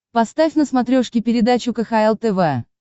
поставь на смотрешке передачу кхл тв